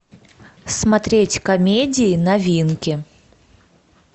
смотреть комедии новинки